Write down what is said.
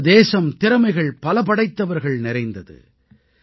நமது தேசம் திறமைகள் பல படைத்தவர்கள் நிறைந்தது